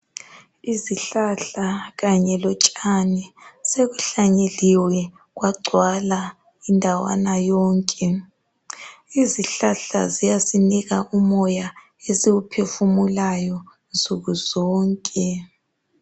Izihlahla kanye lotshani sekuhlanyeliwe kwagcwala indawana yonke .Izihlahla ziyanika umoya esiwuphefumulayo nsuku zonke